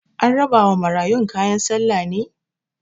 An rabawa marayun kayan sallah ne?